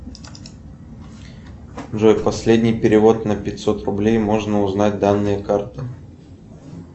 джой последний перевод на пятьсот рублей можно узнать данные карты